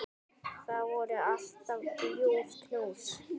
Það voru alltaf ljúf knús.